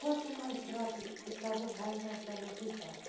Quanto mais bravos eles ficavam, mais nós dávamos risada.